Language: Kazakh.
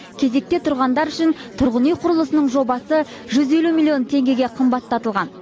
кезекте тұрғандар үшін тұрғын үй құрылысының жобасы жүз елу миллион теңгеге қымбаттатылған